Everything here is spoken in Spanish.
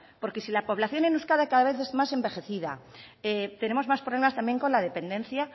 porque si la población en euskadi cada vez más envejecida tenemos más problemas también con la dependencia